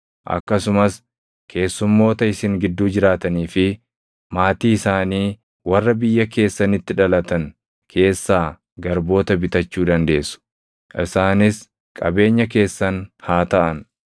Akkasumas keessummoota isin gidduu jiraatanii fi maatii isaanii warra biyya keessanitti dhalatan keessaa garboota bitachuu dandeessu; isaanis qabeenya keessan haa taʼan.